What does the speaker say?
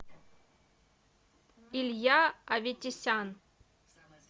илья аветисян